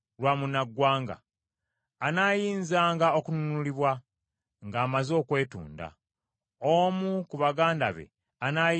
anaayinzanga okununulibwa, ng’amaze okwetunda. Omu ku baganda be anayinzanga okumununula: